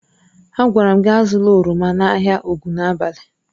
Agwara m gị azụla oroma n'ahịa Ogunabali!